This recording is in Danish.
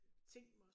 Tænkt mig